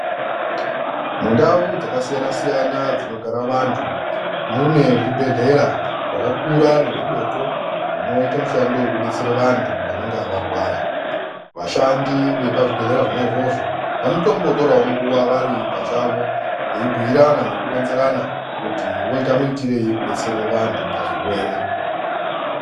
Mundau dzakasiyana-siyana dzinogara vantu mune zvibhedhlera zvakakura nezvidoko, zvinoite mishando vekubetsere vantu vanenga varwara. Vashandi vepazvibhedhlera zvona izvozvo vanotombotoravo nguva vati pachavo veibhuirana nekuronzerana kuti voite muitirei kubetsere vantu pazvirwere.